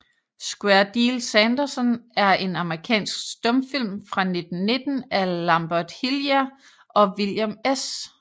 Square Deal Sanderson er en amerikansk stumfilm fra 1919 af Lambert Hillyer og William S